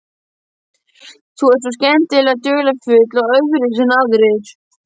Þú ert svo skemmtilega dularfull og öðruvísi en aðrir.